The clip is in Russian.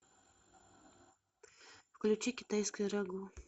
включи китайское рагу